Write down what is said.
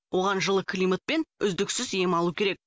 оған жылы климат пен үздіксіз ем алу керек